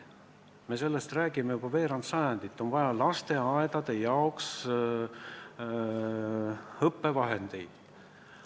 Me oleme sellest rääkinud juba veerand sajandit, et on vaja lasteaedade jaoks õppevahendeid.